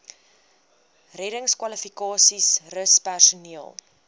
reddingskwalifikasies rus personeel